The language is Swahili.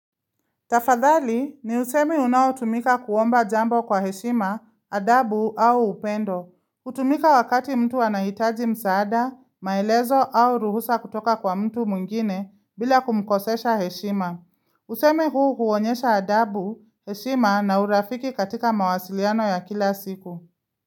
Tafadhali ni usemi unaotumika kuomba jambo kwa heshima, adabu au upendo. Hutumika wakati mtu anahitaji msaada, maelezo au ruhusa kutoka kwa mtu mwingine bila kumkosesha heshima. Usemi huu huonyesha adabu, heshima na urafiki katika mawasiliano ya kila siku.